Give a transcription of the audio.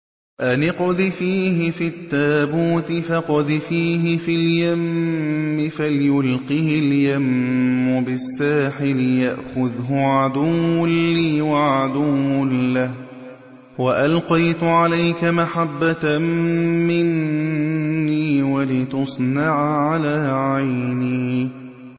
أَنِ اقْذِفِيهِ فِي التَّابُوتِ فَاقْذِفِيهِ فِي الْيَمِّ فَلْيُلْقِهِ الْيَمُّ بِالسَّاحِلِ يَأْخُذْهُ عَدُوٌّ لِّي وَعَدُوٌّ لَّهُ ۚ وَأَلْقَيْتُ عَلَيْكَ مَحَبَّةً مِّنِّي وَلِتُصْنَعَ عَلَىٰ عَيْنِي